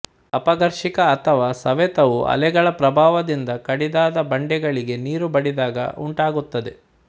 ಅಪಘರ್ಷಕ ಅಥವಾ ಸವೆತ ವು ಅಲೆಗಳ ಪ್ರಭಾವದಿಂದ ಕಡಿದಾದ ಬಂಡೆಗಳಿಗೆ ನೀರು ಬಡಿದಾಗ ಉಂಟಾಗುತ್ತದೆ